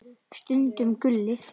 Stundum Gulli.